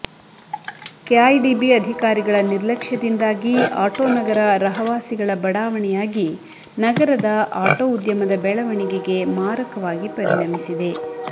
KIADB ಅಧಿಕಾರಿಗಳ ನಿರ್ಲಕ್ಷದಿಂದಾಗಿ ಅಟೋನಗರ ರಹವಾಸಿಗಳ ಬಡಾವಣೆಯಾಗಿ ನಗರದ ಅಟೋ ಉದ್ಯಮದ ಬೆಳವಣಿಗೆಗೆ ಮಾರಕವಾಗಿ ಪರಿಣಮಿಸಿದೆ